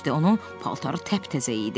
Onun paltarı təptəzə idi.